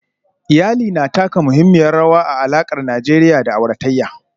Iyali na taka muhimmiyar rawa a alakar Najeriya da auratayya